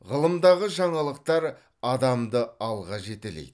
ғылымдағы жаңалықтар адамды алға жетелейді